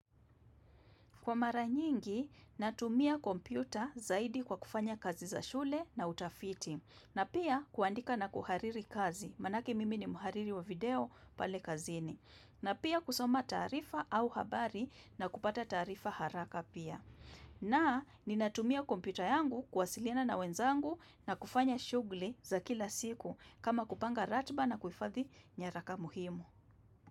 Kwa mara nyingi, natumia kompyuta zaidi kwa kufanya kazi za shule na utafiti, na pia kuandika na kuhariri kazi, manake mimi ni mhariri wa video pale kazini, na pia kusoma taarifa au habari na kupata taarifa haraka pia. Na, ninatumia kompyuta yangu kuwasilina na wenzangu na kufanya shughuli za kila siku kama kupanga ratiba na kuhifadhi nyaraka muhimu.